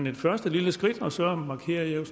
et første lille skridt og så markerer jeg